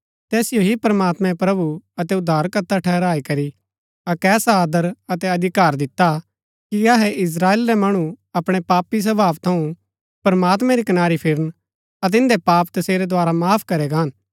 तैसिओ ही प्रमात्मैं प्रभु अतै उद्धारकर्ता ठहराई करी अक्क ऐसा आदर अतै अधिकार दिता कि अहै इस्त्राएल रै मणु अपणै पापी स्वभाव थऊँ प्रमात्मैं री कनारी फिरन अतै इन्दै पाप तसेरै द्धारा माफ करै गान